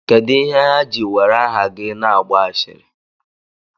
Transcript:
Kedụ ihe ha ji were aha gị na-agba ashịrị?